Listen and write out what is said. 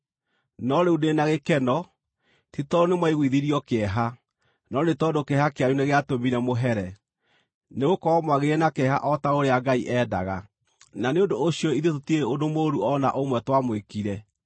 no rĩu ndĩ na gĩkeno, ti tondũ nĩmwaiguithirio kĩeha, no nĩ tondũ kĩeha kĩanyu nĩgĩatũmire mũhere. Nĩgũkorwo mwagĩire na kĩeha o ta ũrĩa Ngai endaga, na nĩ ũndũ ũcio ithuĩ tũtirĩ ũndũ mũũru o na ũmwe twamwĩkire.